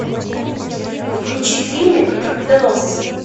включи фильмик торпедоносцы